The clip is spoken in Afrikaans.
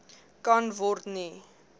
kan word nie